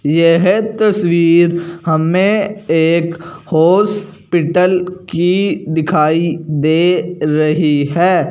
यह तस्वीर हमें एक हॉस्पिटल की दिखाई दे रही है।